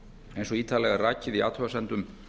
eins og ítarlega er rakið í athugasemdum